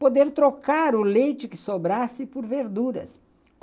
Poder trocar o leite que sobrasse por verduras.